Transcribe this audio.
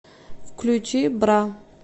включи бра